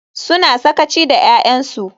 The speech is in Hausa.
Suna sakaci da 'ya'yansu.